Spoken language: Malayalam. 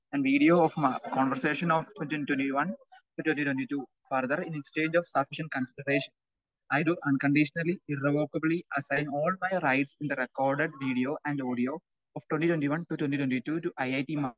And video of conversation of twenty twenty one to twenty twenty two. Further, in exchange of sufficient consideration, I do unconditionally irrevocably assign all my rights in the record video and audio of twenty twenty one to twenty twenty two to it .